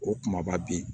O kumaba bɛ yen